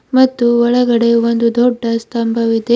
ಮತ್ತು ಒಳಗಡೆ ಒಂದು ದೊಡ್ಡ ಸ್ತಂಭವಿದೆ.